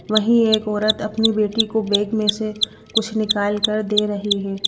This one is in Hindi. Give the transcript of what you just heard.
वहीं एक औरत अपनी बेटी को बैग में से कुछ निकाल कर दे रही है।